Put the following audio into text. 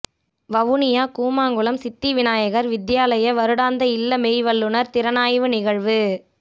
வவுனியா கூமாங்குளம் சித்திவிநாயகர் வித்தியாலய வருடாந்த இல்ல மெய்வல்லுனர் திறனாய்வு நிகழ்வு